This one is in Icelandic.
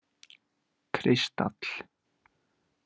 Kristall